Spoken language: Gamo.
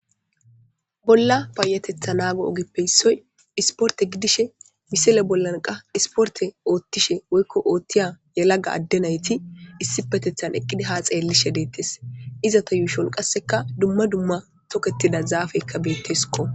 bolla paayatetha naago ogippe issoy isporte gidishe misele bollanqa isporte oothtishe woykko oothtiya yelaga adde nayti issi petethan eqqidi ha xeellishe deettes izata yuushon qasseka dumma dumma tokettida zaafeykka beetteskko